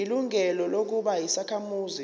ilungelo lokuba yisakhamuzi